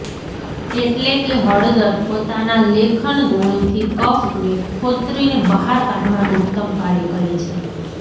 એટલે કે હળદર પોતાના લેખન ગુણથી કફને ખોતરીને બહાર કાઢવાનું ઉત્તમ કાર્ય કરે છે